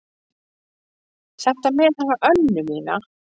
Þetta með hana Önnu mína.